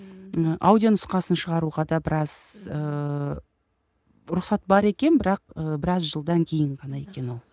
ы аудио нұсқасын шығаруға да біраз ыыы рұқсат бар екен бірақ ы біраз жылдан кейін ғана екен ол